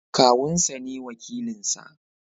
Kawun sa ne wakilin nasa.